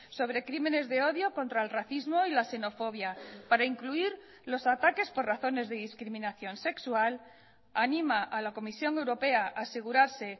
sobre crímenes de odio contra el racismo y la xenofobia para incluir los ataques por razones de discriminación sexual anima a la comisión europea a asegurarse